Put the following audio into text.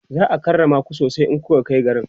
za'a karrama ku sosai in kunkai garin